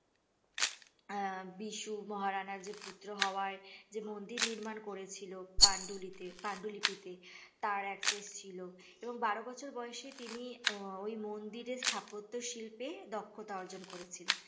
আহ বিশু মহানারার যে পুত্র হওয়ায় যে মন্দির নির্মাণ করেছিল পান্ডুলিতে পাণ্ডুলিপিতে তার access ছিল এবং বারো বছর বয়েস এ তিনি আহ ওই মন্দির এর স্থাপত্য শিল্পে দক্ষতা অর্জন করেছিলেন